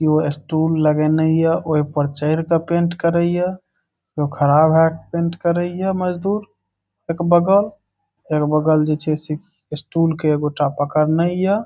ई strong लगा हे नहीं अ ओहे पर चढ़ के पेंट करा हिय। एगो ख़राब है पेंट करा हिय मजदूर एक बगल। एक बगल जे से स्टूल के एगो चापाकल नहीं हिय।